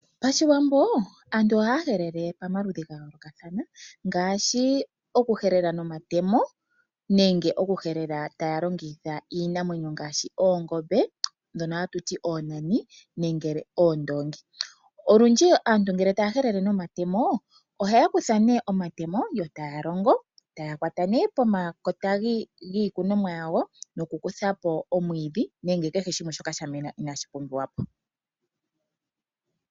Pashiwambo aantu ohaya helele pomaludhi ga yoolokathana ngaashi oku helela nomatemo nenge oku helela taya longitha iinamwenyo ngaashi oongombe ndhono hatuti oonani nenge oondoongi. Olundji aantu ngele taya helela nomatemo ohaya kutha nee omatemo yo taya longo ,taya kwata nee pomakota giikunomwa yawo nokukuthapo omwiidhi nengw kehe shimwe shoka sha mena inashi pumbiwa po.